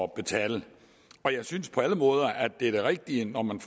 betale jeg synes på alle måder at det er det rigtige når man